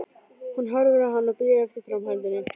Hún horfir á hann og bíður eftir framhaldinu.